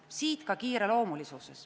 Siit ka kiireloomulisus.